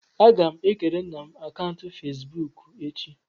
Agam ekere nna m akaụntụ Fezbuuku echi.